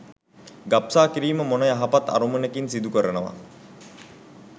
ගබ්සා කිරීම මොන යහපත් අරමුණකින් සිදුකරනවා